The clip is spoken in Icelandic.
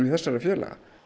þessara félaga